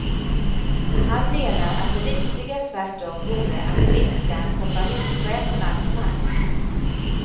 Han menar att det riktiga tvärtom vore att minska kompanichefernas makt.